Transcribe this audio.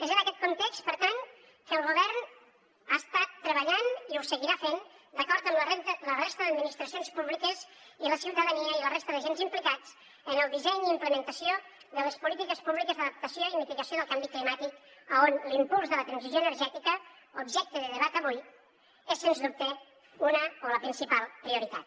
és en aquest context per tant que el govern ha estat treballant i ho seguirà fent d’acord amb la resta d’administracions públiques i la ciutadania i la resta d’agents implicats en el disseny i implementació de les polítiques públiques d’adaptació i mitigació del canvi climàtic en què l’impuls de la transició energètica objecte de debat avui és sens dubte una o la principal prioritat